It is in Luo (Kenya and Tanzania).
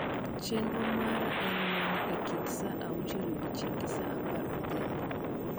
chenro mara en mane e kind saa uachiel odiechieng gi saa apar odhiambo